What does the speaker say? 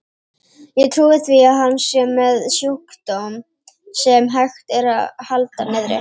Ég trúi því að hann sé með sjúkdóm, sem hægt er að halda niðri.